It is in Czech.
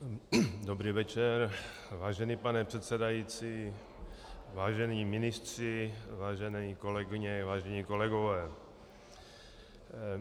Dobrý večer, vážený pane předsedající, vážení ministři, vážené kolegyně, vážení kolegové.